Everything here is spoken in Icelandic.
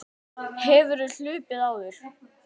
Linda: Hefurðu hlaupið áður?